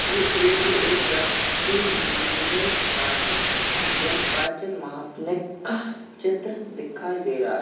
ये एक एक शक्ति मंदिर पाठक मंदिर का चित्र दिखाई दे रहा है।